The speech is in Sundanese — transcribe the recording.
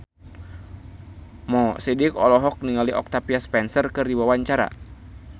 Mo Sidik olohok ningali Octavia Spencer keur diwawancara